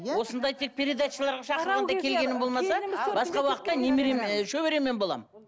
иә осындай тек передачаларға шақырғанда келгенім болмаса басқа уақытта немерем ы шөбереммен боламын